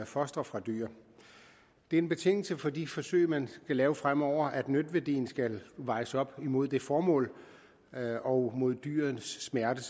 fostre fra dyr det er en betingelse for de forsøg man skal lave fremover at nytteværdien skal vejes op imod formålet og mod dyrets smerte